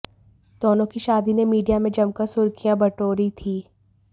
दोनों की शादी ने मीडिया में जमकर सुर्खियं बटोरी थी